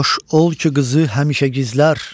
Xoş ol ki qızı həmişə gizlər.